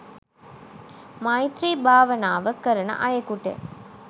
මෛත්‍රී භාවනාව කරන අයෙකුට